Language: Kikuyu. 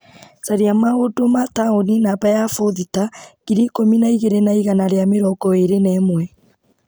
Caria maũndũ ma taũni namba ya bothita ngiri ikũmi na igĩrĩ na iganaa rĩa mĩrongo ĩrĩ na ĩmwe.